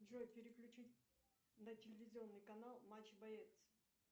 джой переключить на телевизионный канал матч боец